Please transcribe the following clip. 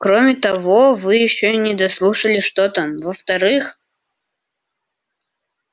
кроме того вы ещё не дослушали что там во-вторых